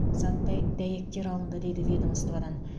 заттай дәйектер алынды дейді ведомстводан